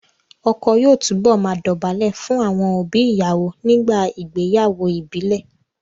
Ọkọ yóò túbọ̀ máa dọ̀bálẹ̀ fún àwọn òbí ìyàwó nígbà ìgbéyàwó ìbílẹ̀